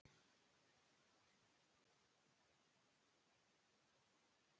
Mér var létt þegar ég lagði tólið á.